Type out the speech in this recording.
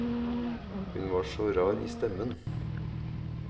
Hun var så rar i stemmen.